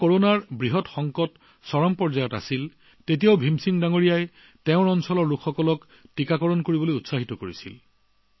যেতিয়া কৰোনাৰ মহা সংকট আহিছিল তেতিয়া হে ভীমসিং জীয়ে নিজৰ অঞ্চলৰ ৰাইজক ভেকচিন লবলৈ উৎসাহিত কৰিছিল